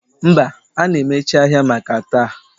Mba, a na-emechi ahịa maka taa